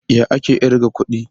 Ya ake kirga kuɗi?